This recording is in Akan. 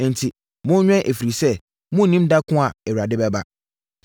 “Enti, monwɛn ɛfiri sɛ, monnim da ko a Awurade bɛba.